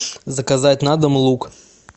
заказать на дом лук